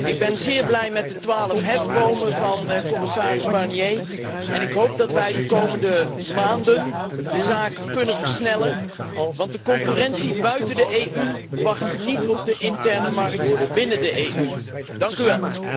Ik ben zeer blij met de twaalf hefbomen van commissaris Barnier en ik hoop dat wij de komende maanden de zaak kunnen versnellen, want de concurrentie buiten de EU wacht niet op de interne markt binnen de EU.